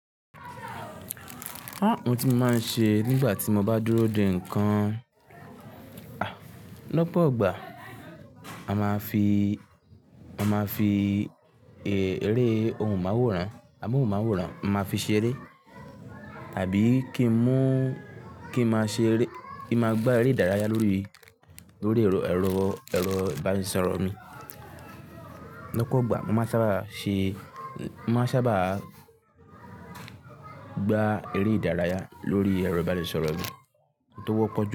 Àwon tí mo máa ń ṣe nígbà tí mo bá dúró de nǹkan, lópọ̀ gbà, a máa fi, a máa fi eré ohun máwòrán, àwọn ohun máwòrán, a máa fi ṣeré àbí kí n mú, kí n máa ṣe eré, kí n máa gbá eré ìdárayá lórí, lórí èrò, èrò, ìbánisọ̀rọ̀ mi. Lópọ̀ gbà, mo máa ń sábà ṣe, mo máa ń sábà gbá eré ìdárayá lórí èrò ìbánisọ̀rọ̀ mi tó wọ́pọ̀ ju.